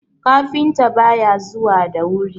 kafinta ba ya zuwa da wuri!